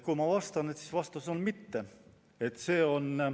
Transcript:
Kui minu käest küsida, siis mu vastus on, et ei peaks.